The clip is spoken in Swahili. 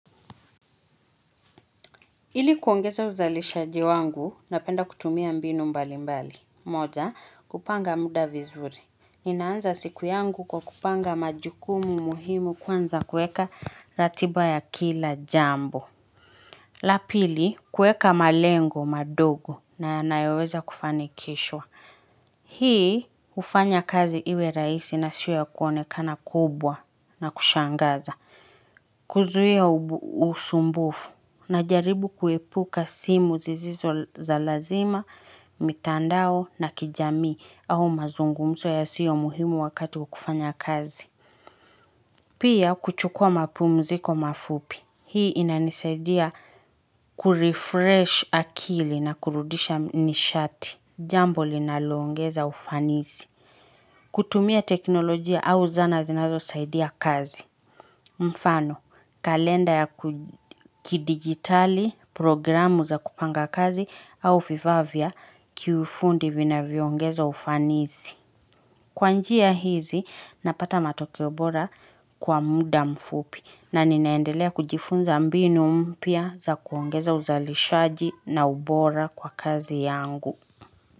Ili kuongeza uzalishaji wangu na penda kutumia mbinu mbali mbali moja kupanga muda vizuri inaanza siku yangu kwa kupanga majukumu muhimu kwanza kueka ratiba ya kila jambo la pili kueka malengo madogo na nayoweza kufanikishwa hii ufanya kazi iwe rahisi na sio ya kuonekana kubwa na kushangaza kuzuhia usumbufu na jaribu kuepuka simu zizizo za lazima, mitandao na kijamii au mazungumzo yasiyo muhimu wakati wakufanya kazi. Pia kuchukua mapumziko mafupi. Hii inanisaidia kurefresh akili na kurudisha nishati. Jambo linaloongeza ufanizi. Kutumia teknolojia au zana zinazo saidia kazi. Mfano, kalenda ya kidigitali programu za kupanga kazi au vifaa vya kiufundi vinavyoongeza ufanizi. Kwa njia hizi, napata matokeo bora kwa muda mfupi na ninaendelea kujifunza mbinu mpya za kuongeza uzalishaji na ubora kwa kazi yangu.